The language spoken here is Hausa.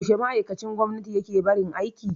Yaushe ma'aikacin gwamnati yake barin aiki?